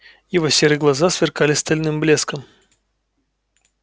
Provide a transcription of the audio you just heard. его серые глаза сверкали стальным блеском